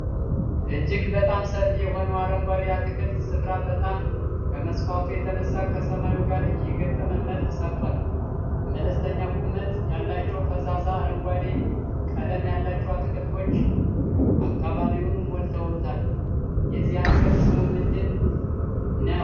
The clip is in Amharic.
እጅግ በጣም ሰፊ የሆነው አረንጓዴ የአትክልት ስፍራ በጣም ከመስፋቱ የተነሳ ከሰማዩ ጋር የገጠመ መልክ ሰርቷል። መለስተኛ ቁመት ያላቸው ፈዛዛ አረንጓዴ ቀለም ያላቸው አትክልቶች አካባቢውን ሞልተውታል። የዚህ አትክልት ስሙ ምንድን ነው?